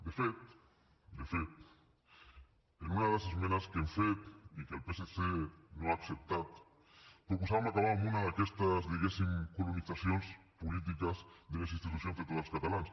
de fet de fet en una de les esmenes que hem fet i que el psc no ha acceptat proposàvem acabar amb una d’aquestes diguéssim colonitzacions polítiques de les institucions de tots els catalans